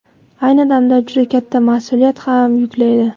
Ayni damda juda katta mas’uliyat ham yuklaydi.